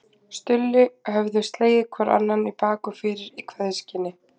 Stulli höfðu slegið hvor annan í bak og fyrir í kveðjuskyni.